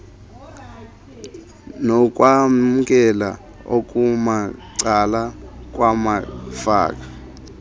nokwamkela okumacala kwamafa